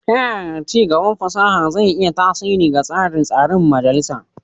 Ta yaya ci gaban fasaha zai iya tasiri ga tsarin tsarin majalisa?